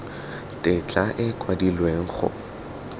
tetla e e kwadilweng go